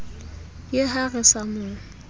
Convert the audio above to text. ke ha re sa mo